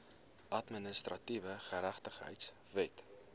administratiewe geregtigheid wet